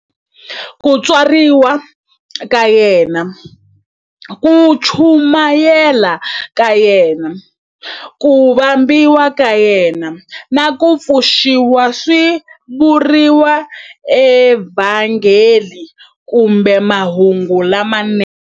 Ku tswariwa ka yena, ku chumayela ka yena, ku vambiwa ka yena, na ku pfuxiwa swi vuriwa eVhangeli kumbe"Mahungu lamanene".